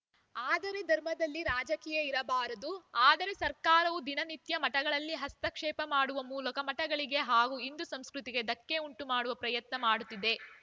ಆದರೆ ಧರ್ಮದಲ್ಲಿ ರಾಜಕೀಯ ಇರಬಾರದು ಆದರೆ ಸರ್ಕಾರವು ದಿನನಿತ್ಯ ಮಠಗಳಲ್ಲಿ ಹಸ್ತಕ್ಷೇಪ ಮಾಡುವ ಮೂಲಕ ಮಠಗಳಿಗೆ ಹಾಗೂ ಹಿಂದೂ ಸಂಸ್ಕೃತಿಗೆ ಧಕ್ಕೆ ಉಂಟು ಮಾಡುವ ಪ್ರಯತ್ನ ಮಾಡುತ್ತಿದೆ